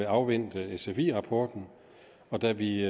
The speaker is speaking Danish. afvente sfi rapporten da vi